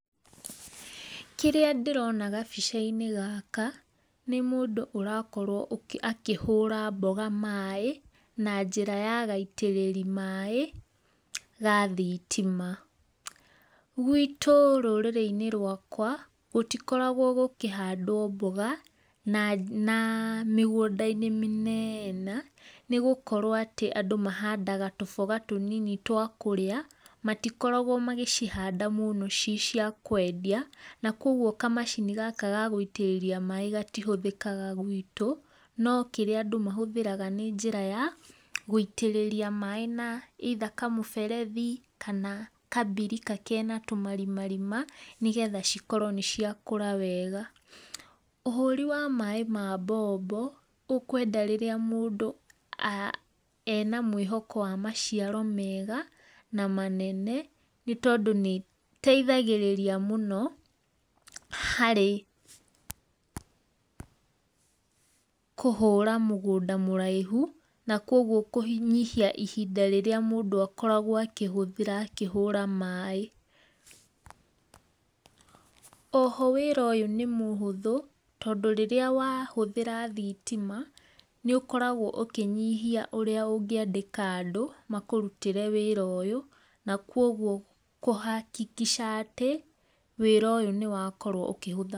Kĩrĩa ndĩrona gabica-inĩ gaka, nĩ mũndũ ũrakorwo agĩ akĩhũra mboga maĩ, na njĩra ya gaitĩrĩri maĩ, ga thitima, gwitũ rũrĩrĩ-inĩ rwakwa, gũtikoragwo gũkĩhandwo mboga na, mĩgũnda-inĩ mĩnene, nĩgũkorwo atĩ andũ mahandaga tũboga tũnini twakũrĩa, matikoragwo magĩcihanda mũno ci ciakwendia, na koguo ka macini gaka ga guitĩrĩria maĩ gatihũthĩkaga gwitũ, no kĩrĩa andũ mahũthĩraga nĩ njĩra ya, gũitĩrĩria maĩ na either kamũberethi, kana kambirika kena tũmarimarima, nĩgetha cikorwo nĩciakũra wega, ũhũri wa maĩ ma mbombo, ũkwenda rĩrĩa mũndũ, ena mwĩhoko wa maciaro mega, na manene, nĩtondũ nĩteithagĩrĩria, mũno, harĩ, kũhũra mũgũnda mũraihu, na koguo kũhi kũnyihia ihinda rĩrĩa mũndũ akoragwo akĩhũthĩra akĩhũra maĩ. Oho wĩra ũyũ nĩ mũhũthũ, tondũ rĩrĩa wahúthĩra thitima, nĩũkoragwo ũkĩnyihia ũrĩa ũngĩandĩka andũ, makũrutĩre wĩra ũyũ, na kwoguo, kũhakikisha, atĩ, wĩra ũyũ nĩwakorwo ũkĩhũtha.